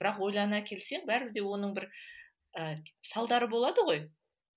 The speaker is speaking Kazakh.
бірақ ойлана келсең бәрібір де оның бір ы салдары болады ғой